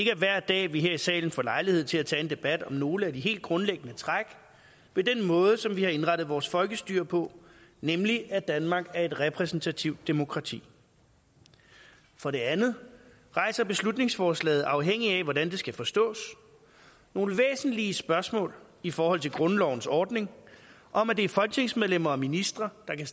er hver dag at vi her i salen får lejlighed til at tage en debat om nogle af de helt grundlæggende træk ved den måde som vi har indrettet vores folkestyre på nemlig at danmark er et repræsentativt demokrati for det andet rejser beslutningsforslaget afhængigt af hvordan det skal forstås nogle væsentlige spørgsmål i forhold til grundlovens ordning om at det er folketingsmedlemmer og ministre der kan